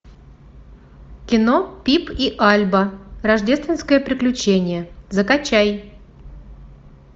кино пип и альба рождественское приключение закачай